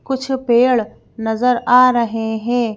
कुछ पेड़ नजर आ रहे हैं।